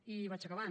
i vaig acabant